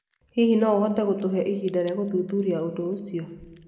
Hihi no ũhote gũtũhe ihinda rĩa gũthuthuria ũndũ ũcio?